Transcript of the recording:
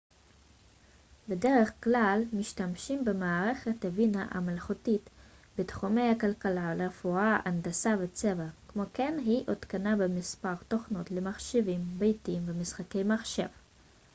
בדרך כלל משתמשים במערכת הבינה המלאכותית בתחומי הכלכלה רפואה הנדסה וצבא כמו כן היא הותקנה במספר תוכנות למחשבים ביתיים ומשחקי מחשב